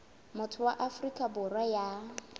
motho wa afrika borwa ya